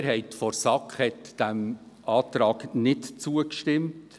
Die Mehrheit der SAK hat diesem Antrag nicht zugestimmt.